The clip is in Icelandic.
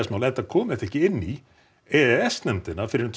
mál nei kom ekki inn í e e s nefndina fyrr en tvö